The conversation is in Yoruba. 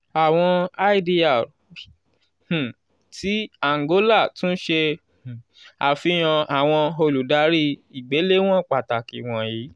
awọn idr um ti angola tun ṣe um afihan awọn oludari igbelewọn pataki wọnyi: